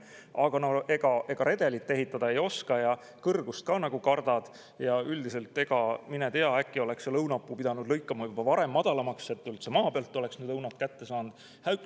Aga no redelit ehitada ei oska ja kõrgust ka kardame ja mine tea, äkki oleks selle õunapuu pidanud lõikama juba varem madalamaks, et üldse maa pealt oleks need õunad kätte saanud.